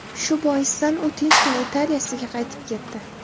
Shu boisdan u tinchgina Italiyasiga qaytib ketdi.